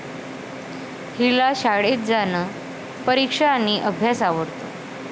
हिला शाळेत जाणं, परीक्षा आणि अभ्यास आवडतो.